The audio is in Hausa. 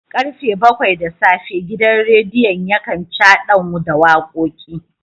Karfe bakwai da safe gidan radiyon yakan chadan da wakoki